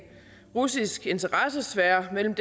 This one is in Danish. russisk interessesfære mellem